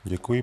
Děkuji.